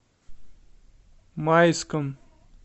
майском